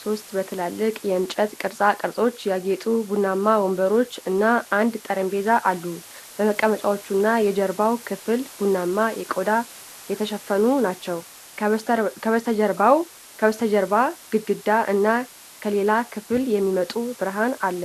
ሶስት በትላልቅ የእንጨት ቅርጻ ቅርጾች ያጌጡ ቡናማ ወንበሮች እና አንድ ጠረጴዛ አሉ። መቀመጫዎቹና የጀርባው ክፍል ቡናማ ቆዳ የተሸፈኑ ናቸው። ከበስተጀርባ ግድግዳ እና ከሌላ ክፍል የሚመጣ ብርሃን አለ።